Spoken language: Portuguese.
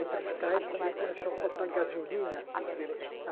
Entre os cais também começou a faltar gasolina.